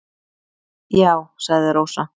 """Já, sagði Rósa."""